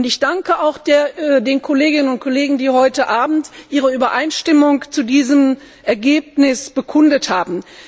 Und ich danke auch den Kolleginnen und Kollegen, die heute Abend ihre Übereinstimmung zu diesem Ergebnis bekundet haben.